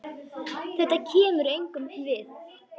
Þetta kemur engum við.